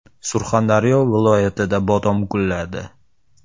Surxondaryo viloyatida bodom gulladi.